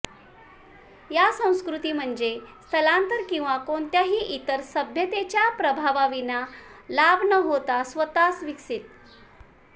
या संस्कृती म्हणजे स्थलांतर किंवा कोणत्याही इतर सभ्यतेच्या प्रभावाविना लाभ न होता स्वतःस विकसित